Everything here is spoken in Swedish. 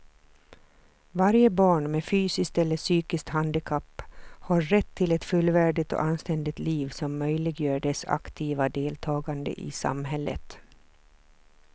Varje barn med fysiskt eller psykiskt handikapp har rätt till ett fullvärdigt och anständigt liv som möjliggör dess aktiva deltagande i samhället.